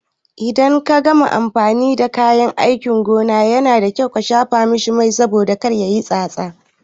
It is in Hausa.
Idan ka gama amfani da kayan aikin gona, Yana da kyau ka shafa masa Mai saboda kar yayi tsatsa.